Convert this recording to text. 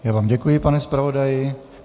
Já vám děkuji, pane zpravodaji.